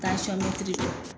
Tansɔn mɛtiri dɔ.